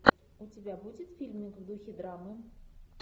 у тебя будет фильмы в духе драмы